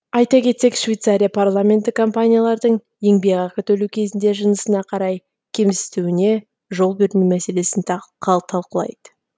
айта кетсек швейцария парламенті компаниялардың еңбекақы төлеу кезінде жынысына қарай кемсітуіне жол бермеу мәселесін талқылайды